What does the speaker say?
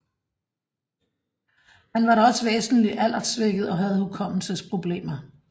Han var da væsentligt alderssvækket og havde hukommelsesproblemer